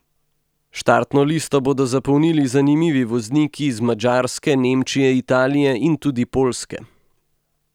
Štartno listo bodo zapolnili zanimivi vozniki iz Madžarske, Nemčije, Italije in tudi Poljske.